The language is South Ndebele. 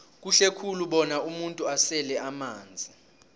kuhle khulu bona umuntu asele amanzi